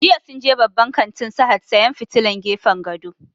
Jiya sun je babban kantin Sahad sayan fitilan gefen gado